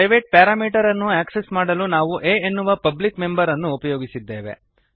private parameter ಅನ್ನು access ಮಾಡಲು ನಾವು a ಎನ್ನುವ ಪಬ್ಲಿಕ್ ಮೆಂಬರ್ ಅನ್ನು ಉಪಯೋಗಿಸಿದ್ದೇವೆ